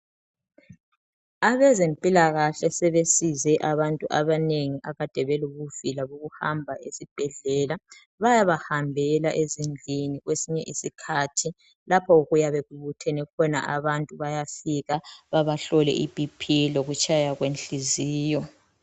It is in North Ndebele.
Abezempilakahle sebesize abantu abanengi abakade belobuvila bokuhamba esibhedlela bayabahambela ezindlini kwesinye isikhathi lapho okuyabe kubuthene khona abantu bayafika bebahlole iBP lokutshaya kwenhliziyo.